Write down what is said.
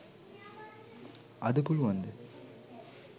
අද පුළුවන් ද